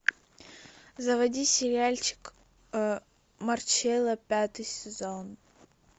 заводи сериальчик марчелла пятый сезон